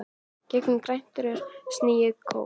Gegnum grænt rör sýg ég kók.